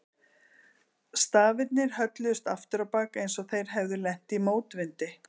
Stafirnir hölluðust aftur á bak eins og þeir hefðu lent í mótvindi.